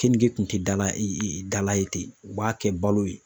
Kenige kun ti dala i dala ye ten u b'a kɛ balo ye.